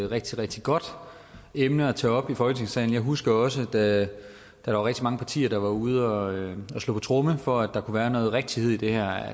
rigtig rigtig godt emne at tage op i folketingssalen jeg husker også da der var rigtig mange partier der var ude og slå på tromme for at der kunne være noget rigtighed i det her